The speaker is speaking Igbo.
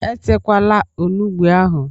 E takwala onugbu ahụ!